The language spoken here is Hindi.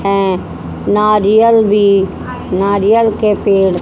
हैं नारियल भी नारियल के पेड़--